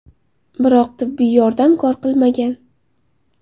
Biroq tibbiy yordam kor qilmagan.